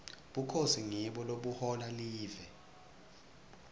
bukhosi ngibo lobuhola live